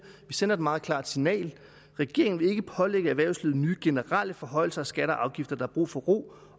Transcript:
vi sender et meget klart signal regeringen vil ikke pålægge erhvervslivet nye generelle forhøjelser af skatter og afgifter der er brug for ro